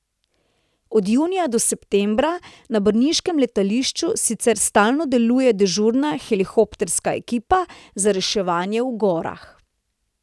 Od junija do septembra na brniškem letališču sicer stalno deluje dežurna helikopterska ekipa za reševanje v gorah.